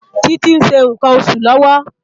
Titi n ṣé nkán óṣú lòwò